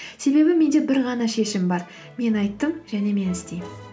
себебі менде бір ғана шешім бар мен айттым және мен істеймін